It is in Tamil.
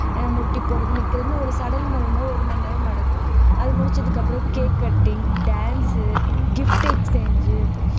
முட்டி போடுறது நிக்கிறதுன்னு ஒரு சடங்கு பண்ணும்போது ஒரு மணி நேரம் நடக்கும் அது முடிச்சதுக்கு அப்புறம் cake cutting, dance, gift exchange உ